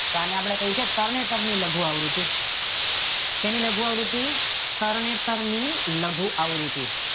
આને આપડે કહીયે છીએ તરણેતર ની લઘુ આવૃતી શેની લઘુ આવૃતી તરણેતર ની લઘુ આવૃતી